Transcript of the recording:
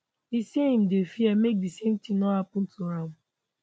e say im dey fear make di same tin no happun to am